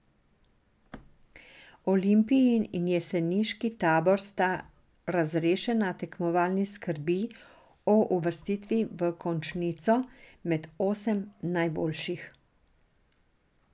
Olimpijin in jeseniški tabor sta razrešena tekmovalnih skrbi o uvrstitvi v končnico, med osem najboljših.